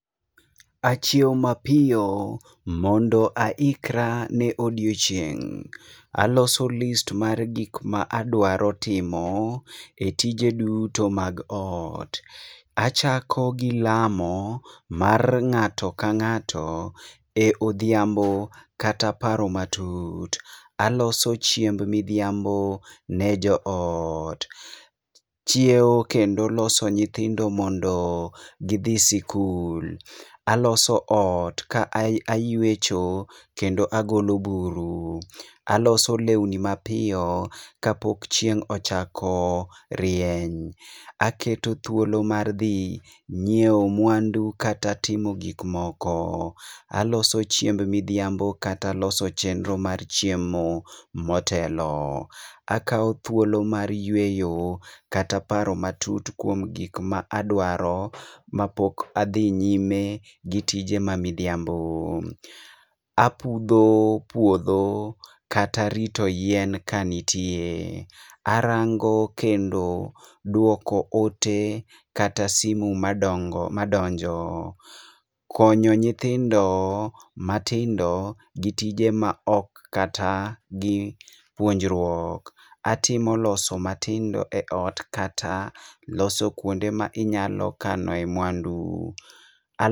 Achiew mapiyo mondo aikra ne odiochieng'. Aloso list mar gik ma adwaro timo e tije duto mag ot. Achako gi lamo mar ng'ato ka ng'ato e odhiambo kata paro matut. Aloso chiemb midhiambo ne jo ot. Chiew kendo loso nyithindo mondo gidhi sikul. Aloso ot ka ayuecho kendo agolo buru. Aloso lewni mapiyo ka pok chieng' ochako rieny. Aketo thuolo mar dhi nyiewo mwandu kata timo gik moko. Aloso chiemb midhiambo kata loso chenro mar chiemo motelo. Akao thuolo mar yueyo kata paro matut kuom gik ma adwaro ma pok adhi nyime gi tije ma midhiambo. Apudho puodho kata rito yien ka nitie. Arango kendo duoko ote kata simu madongo madonjo. Konyo nyithindo matindo gi tije maok kata gi puonjoruok. Atimo loso matindo e ot kata loso kuonde ma inyalo kanoe mwandu.